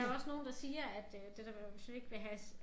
Der jo også nogle der siger at øh det der med hvis vi ikke vil have